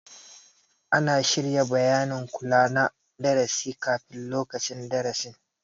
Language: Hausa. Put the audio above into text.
Ana shirya bayanin kula na darasi kafin lokacin darasin